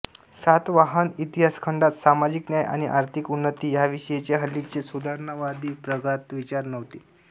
सातवाहन इतिहासखंडात सामाजिक न्याय आणि आर्थिक उन्नती ह्याविषयींचे हल्लीचे सुधारणावादी प्रगत विचार नव्हते